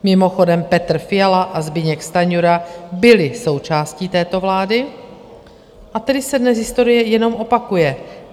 Mimochodem, Petr Fiala a Zbyněk Stanjura byli součástí této vlády, a tedy se dnes historie jenom opakuje.